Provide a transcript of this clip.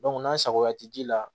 n'a sagoya tɛ ji la